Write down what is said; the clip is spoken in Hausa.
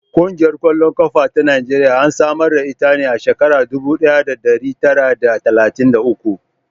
Ƙungiyar ƙwallon ƙafa ta Najeriya an samar da ita a shekarar dubu ɗaya da ɗari tara d talatin da uku.